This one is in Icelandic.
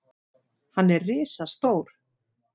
Hann er risastór.